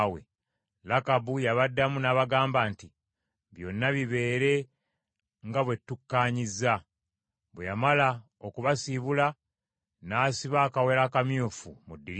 Lakabu y’abaddamu n’abagamba nti, “Byonna bibeere nga bwe tukkaanyizza.” Bwe yamala okubasiibula n’asiba akawero akamyufu mu ddirisa.